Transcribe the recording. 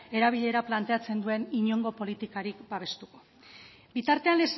erabilera planteatzen duen inongo politikarik babestuko bitartean